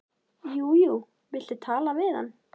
Jú jú, viltu tala við hann?